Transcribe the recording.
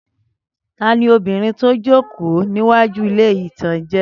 Tani obìnrin tó n jòkó níwájú ilé-ìtánjẹ?